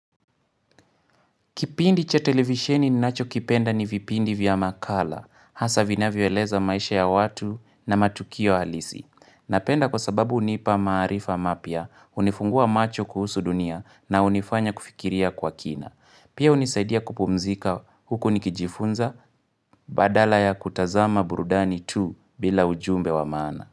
Kipindi cha televisheni ninacho kipenda ni vipindi vya makala, hasa vinavyo eleza maisha ya watu na matukio halisi. Napenda kwa sababu hunipa maarifa mapya, hunifungua macho kuhusu dunia na hunifanya kufikiria kwa kina. Pia hunisaidia kupumzika huku nikijifunza, badala ya kutazama burudani tu bila ujumbe wa maana.